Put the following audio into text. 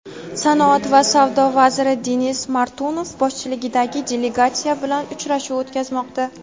sanoat va savdo vaziri Denis Manturov boshchiligidagi delegatsiya bilan uchrashuv o‘tkazmoqda.